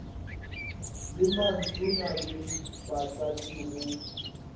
le mantona le batlatši go